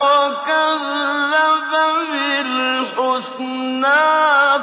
وَكَذَّبَ بِالْحُسْنَىٰ